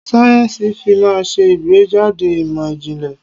Sáyẹ́nsì-Fí máa ń ṣe ìgbẹ́jáde ìmọ̀ ìjìnlẹ̀.